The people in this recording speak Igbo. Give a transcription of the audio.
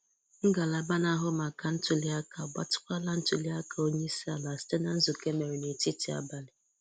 Ngalaba na-ahụ maka ntùli aka agbàtịkwala ntùli aka Onyeisi-ala site na nzùkọ e mere n’etiti abalị